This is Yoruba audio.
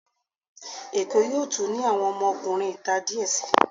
Èkó yóò tún ní àwọn ọmọkunrin ìta díẹ̀ sii.